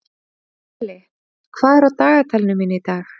Hlölli, hvað er á dagatalinu mínu í dag?